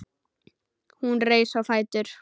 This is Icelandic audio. Hún reis á fætur.